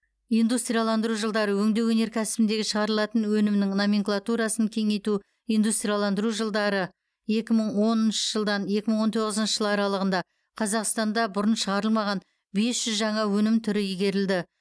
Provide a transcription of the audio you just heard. индустрияландыру жылдары өңдеу өнеркәсібіндегі шығарылатын өнімнің номенклатурасын кеңейту индустрияландыру жылдары екі мың оныншы жылдан екі мың он тоғызыншы жыл аралығында қазақстанда бұрын шығарылмаған бес жүз жаңа өнім түрі игерілді